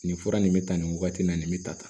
Nin fura nin bɛ tan nin wagati la nin bɛ tan